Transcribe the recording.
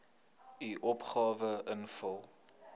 u opgawe invul